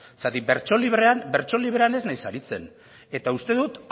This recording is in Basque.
zeren bertso librean ez naiz aritzen eta uste dut